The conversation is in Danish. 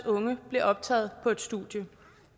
unge blev optaget på et studie